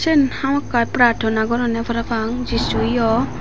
soan hamakka pratana goronne parapang jisu yo.